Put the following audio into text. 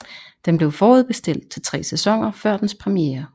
Den blev forudbestilt til tre sæsoner før dens premiere